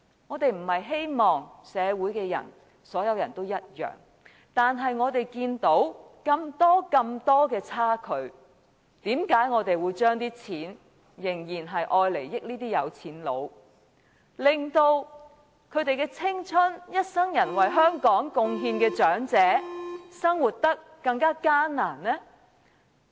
我們並非希望社會上所有人也相同，但當我們看到如此大的差距，為何我們仍然把這些錢惠及有錢人，令付出青春、一生為香港作出貢獻的長者生活得更艱難呢？